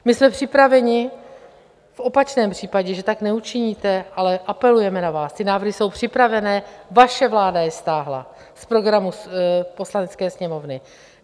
My jsme připraveni v opačném případě, že tak neučiníte, ale apelujeme na vás, ty návrhy jsou připravené, vaše vláda je stáhla z programu Poslanecké sněmovny.